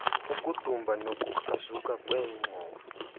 ukudumba nokukrazuka kweengxowa